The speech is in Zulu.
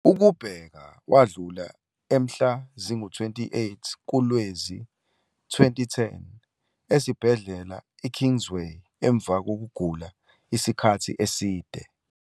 Ukubheka wadlula emhla zi-28 kuLwezi we-2010 esibhedlela i-Kingsway emva kokugula isikhathi eside.